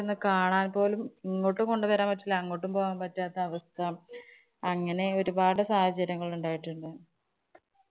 ഒന്നു കാണാന്‍ പോലും ഇങ്ങോട്ട് കൊണ്ടുവരാന്‍ പറ്റില്ല. അങ്ങോട്ടും പോവാന്‍ പറ്റാതൊരു അവസ്ഥ. അങ്ങനെ ഒരുപാട് സാഹചര്യങ്ങള്‍ ഉണ്ടായിട്ടുണ്ട്.